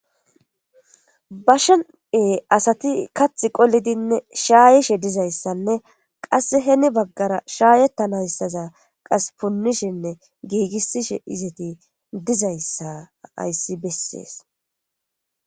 Bashen asati kathi qolidinne shaayishe dizayssanne qasse heni baggara shaayettanayssaza qas punnishenne giigissishe izati dizayssa hayssi bessees.